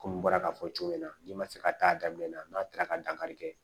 Komi n bɔra k'a fɔ cogo min na n'i ma se ka taa daminɛ n'a taara ka dankari kɛ